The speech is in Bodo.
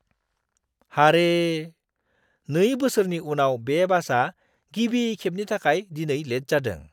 हारे, नै बोसोरनि उनाव बे बासआ गिबि खेबनि थाखाय दिनै लेट जादों!